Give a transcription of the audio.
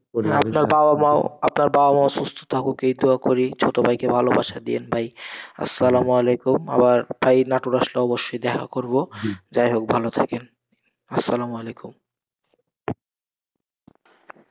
আপনার বাবা মাও, আপনার বাবা মাও সুস্থ থাকুক এই দুয়া করি, ছোটভাইকে ভালোবাসা দিয়েন ভাই, আসসালামু আলাইকুম, আবার ভাই, নাটোর আসলে অবশ্যই দেখা করবো, যাই হোক ভালো থাকেন, আসসালামু আলাইকুম।